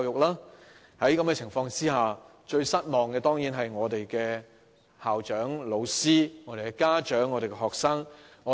在此情況下，最失望的當然是我們的校長、老師、家長和學生。